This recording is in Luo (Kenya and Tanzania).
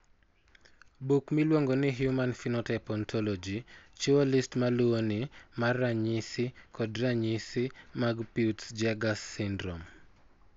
Buk miluongo ni Human Phenotype Ontology chiwo list ma luwoni mar ranyisi kod ranyisi mag Peutz Jeghers syndrome.